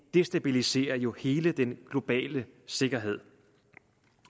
destabiliserer jo hele den globale sikkerhed